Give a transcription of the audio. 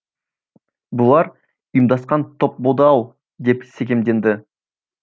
бұлар ұйымдасқан топ болды ау деп секемденді